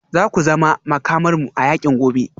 Za ku zama Makamarmu a yakin gobe